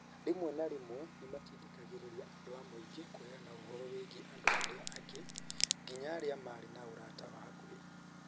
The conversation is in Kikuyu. Rĩmwe na rĩmwe nĩ matindĩkagĩrĩria andũ a mũingĩ kũheana ũhoro wĩgiĩ andũ arĩa angĩ. Nginya arĩa maarĩ na ũrata wa hakuhĩ.